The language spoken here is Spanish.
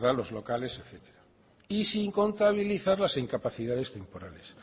los locales etcétera y sin contabilizar las incapacidades temporales